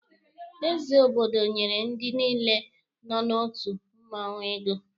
Eze Obodo nyere ndị niile nọ n'otu mmụọnwụ ego